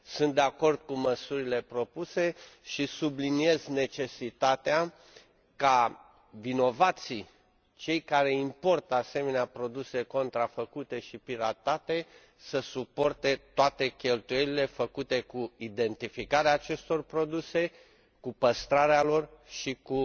Sunt de acord cu măsurile propuse și subliniez necesitatea ca vinovații, cei care importă asemenea produse contrafăcute și piratate, să suporte toate cheltuielile făcute cu identificarea acestor produse, cu păstrarea lor și cu